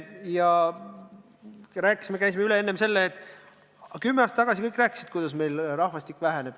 Ja enne oli jutuks, et kümme aastat tagasi kõik rääkisid, kui kiiresti meil rahvastik väheneb.